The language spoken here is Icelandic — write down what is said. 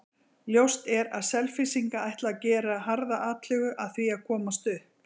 Ljóst er að Selfyssingar ætla að gera harða atlögu að því að komast upp.